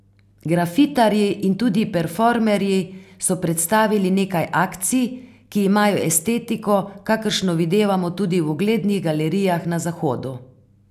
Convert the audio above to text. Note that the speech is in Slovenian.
Grafitarji in tudi performerji so predstavili nekaj akcij, ki imajo estetiko, kakršno videvamo tudi v uglednih galerijah na Zahodu.